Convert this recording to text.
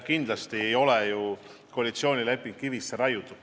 Kindlasti ei ole koalitsioonileping kivisse raiutud.